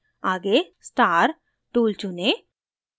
आगे star tool चुनें